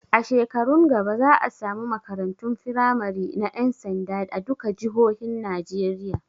A shekarun gaba za a samu makarantun firamari na ƴan sanda a duka jihohin Najeriya